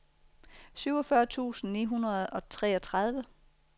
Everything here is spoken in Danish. syvogfyrre tusind ni hundrede og treogtredive